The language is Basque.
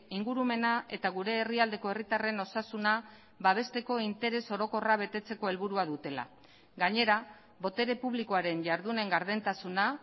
ingurumena eta gure herrialdeko herritarren osasuna babesteko interes orokorra betetzeko helburua dutela gainera botere publikoaren jardunen gardentasuna